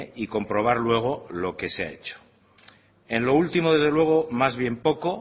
y comprobar luego lo que se ha hecho en lo último desde luego más bien poco